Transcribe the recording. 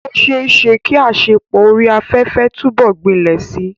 Ó ṣeé ṣe kí àṣepọ̀ orí afẹ́fẹ́ túbọ̀ gbilẹ̀ síi.